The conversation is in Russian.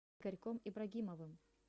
игорьком ибрагимовым